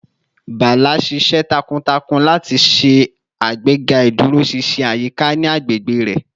Bala ṣiṣẹ takuntakun lati ṣe agbega iduroṣinṣin ayika ni agbegbe rẹ